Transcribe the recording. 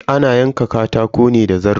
Ana yanka katako ne da zarto.